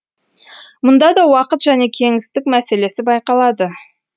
мұнда да уақыт және кеңістік мәселесі байқалады